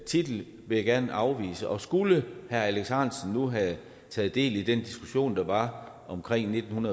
titel vil jeg gerne afvise og skulle herre alex ahrendtsen nu have taget del i den diskussion der var omkring nitten